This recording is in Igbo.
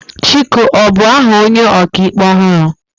Chike ọ bu aha onye ọka ikpe ọhụrụ?